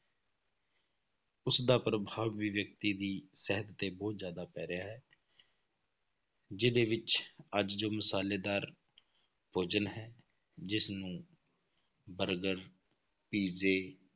ਉਸਦਾ ਪ੍ਰਭਾਵ ਵੀ ਵਿਅਕਤੀ ਦੀ ਸਿਹਤ ਤੇ ਬਹੁਤ ਜ਼ਿਆਦਾ ਪੈ ਰਿਹਾ ਹੈ ਜਿਹਦੇ ਵਿੱਚ ਅੱਜ ਜੋ ਮਸ਼ਾਲੇਦਾਰ ਭੋਜਨ ਹੈ, ਜਿਸਨੂੰ ਬਰਗਰ, ਪੀਜ਼ੇ,